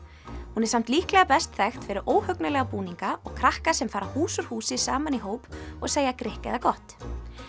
hún er samt líklega best þekkt fyrir óhugnanlega búninga og krakka sem fara hús úr húsi saman í hóp og segja grikk eða gott